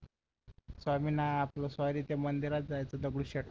स्वामी sorry त्या मंदिरात जायचं होत दगडूशेठ